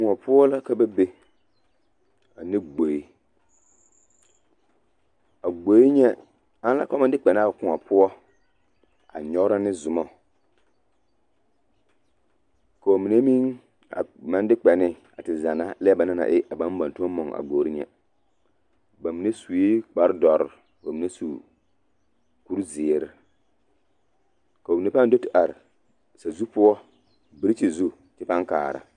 Kõɔ poɔ la ka ba be ane gboe, a gboe nyɛ ana ka ba maŋ de kpɛ ne a kõɔ poɔ a nyɔgerɔ ne zomɔ k'o mine meŋ a maŋ de kpɛ ne a te zanna lɛ banaŋ na e a tõɔ mɔŋ a gbori nyɛ bamine sue kpare dɔre ka bamine su kuri zeere, k'o mine pãã do te are sazu poɔ birikyiri zu kyɛ pãã kaara.